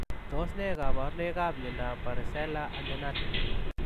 Tos ne kabarunoik ap miondop Parisela andenatal?